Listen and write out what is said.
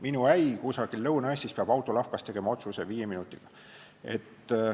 Minu äi kusagil Lõuna-Eestis peab autolavkas otsuse tegema viie minutiga.